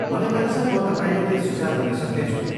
मलाई लाग्छ, म तपाईँलाई केही सुझाव दिन सक्नेछु।